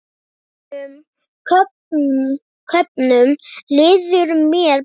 Önnum köfnum líður mér best.